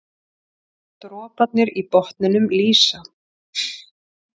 Droparnir í botninum lýsa.